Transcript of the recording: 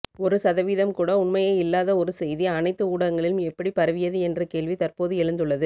ஒரு சதவீதம் கூட உண்மையை இல்லாத ஒரு செய்தி அனைத்து ஊடகங்களிலும் எப்படி பரவியது என்ற கேள்வி தற்போது எழுந்துள்ளது